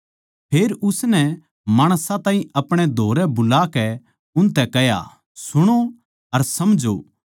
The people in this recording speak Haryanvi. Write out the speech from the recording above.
फेर उसनै माणसां ताहीं अपणे धोरै बुलाकै उनतै कह्या सुणो अर समझो